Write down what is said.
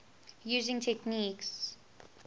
using techniques